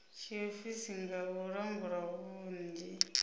tshiofisi nga u langula vhunzhi